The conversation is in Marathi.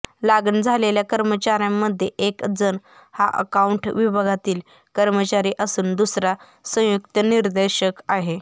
लागण झालेल्या कर्मचाऱ्यांमध्ये एक जण हा आकाउंट विभागातील कर्मचारी असून दूसरा संयुक्त निर्देशक आहे